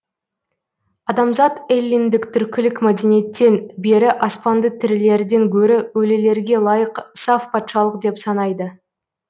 адамзат эллиндік түркілік мәдениеттен бері аспанды тірілерден гөрі өлілерге лайық саф патшалық деп санайды